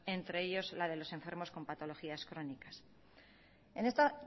entre ellos la de los enfermos con patologías crónicas en esta